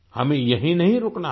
हमें यहीं नहीं रुकना है